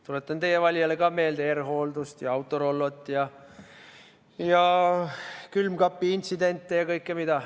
Tuletan ka teie valijale meelde R-Hooldust ja Autorollot ja külmkapiintsidente ja mida kõike veel.